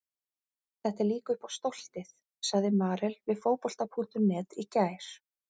Þetta er líka upp á stoltið, sagði Marel við Fótbolta.net í gær.